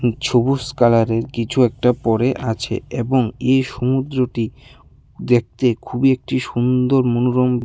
উম ছবুস কালারের কিছু একটা পড়ে আছে এবং এই সমুদ্রটি দেখতে খুবই একটি সুন্দর মনোরম--